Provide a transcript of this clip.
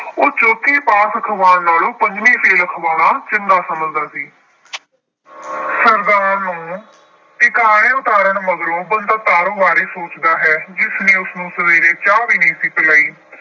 ਉਹ ਚੌਥੀ ਪਾਸ ਅਖਵਾਉਣ ਨਾਲੋਂ ਪੰਜਵੀਂ ਫੇਲ੍ਹ ਅਖਵਾਉਣਾ ਚੰਗਾ ਸਮਝਦਾ ਸੀ। ਸਰਦਾਰ ਨੂੰ ਟਿਕਾਣੇ ਉਤਾਰਨ ਮਗਰੋਂ ਬੰਤਾ ਤਾਰੋ ਬਾਰੇ ਸੋਚਦਾ ਹੈ ਜਿਸਨੇ ਉਸਨੂੰ ਸਵੇਰੇ ਚਾਹ ਵੀ ਨਹੀਂ ਸੀ ਪਿਲਾਈ।